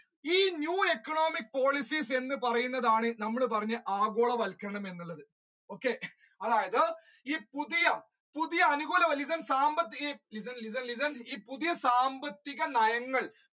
ഈ new economic policies എന്ന് പറയുന്നതാണ് നമ്മൾ ഇപ്പോൾ പറഞ്ഞ ആഗോളവത്ക്കരണം എന്നുള്ളത് okay അതായത് ഈ പുതിയ പുതിയ പുതിയ സാമ്പത്തിക നയങ്ങൾ